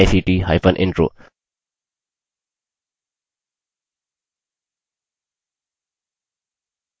* spoken hyphen tutorial dot org slash nmeict hyphen intro